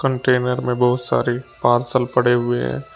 Container में बहुत सारे पार्सल पड़े हुए हैं।